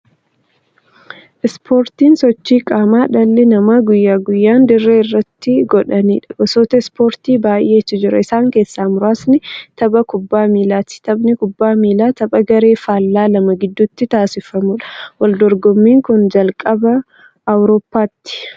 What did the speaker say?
Ispoortiin sochii qaamaa dhalli namaa guyyaa guyyaan dirree irratti godhaniidha. Gosoota ispoortii baay'eetu jira. Isaan keessaa muraasni tapha kubbaa miillaati. Taphni kubbaa miillaa tapha garee faallaa lama gidduutti taasifamuudha. Waldorgommiin kan jalqabe Awuroopaatti.